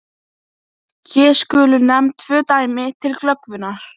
Hér skulu nefnd tvö dæmi til glöggvunar.